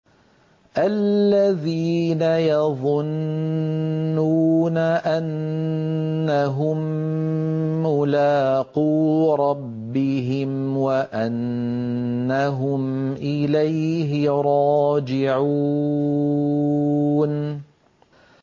الَّذِينَ يَظُنُّونَ أَنَّهُم مُّلَاقُو رَبِّهِمْ وَأَنَّهُمْ إِلَيْهِ رَاجِعُونَ